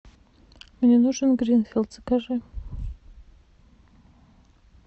мне нужен гринфилд закажи